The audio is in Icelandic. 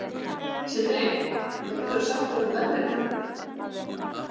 Sandri, hvað geturðu sagt mér um veðrið?